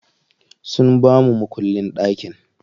Sun bamu makullin ɗakin.